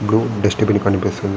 blue dustbin కనిపిస్తు --